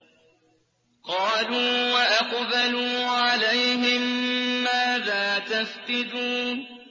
قَالُوا وَأَقْبَلُوا عَلَيْهِم مَّاذَا تَفْقِدُونَ